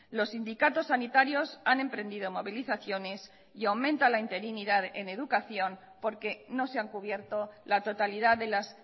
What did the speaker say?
los sindicatos sanitarios han emprendido movilizaciones y aumenta la interinidad en educación porque no se han cubierto la totalidad de las